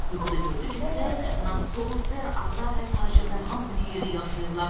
Yuxuda gördü ki, Ser Nasos, Ser Ada və tacirlər hamısı bir yerdə yaşayırlar,